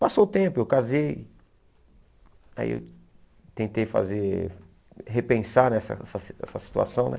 Passou o tempo, eu casei, aí eu tentei fazer, repensar nessa essa essa situação, né?